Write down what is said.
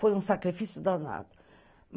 Foi um sacrifício danado.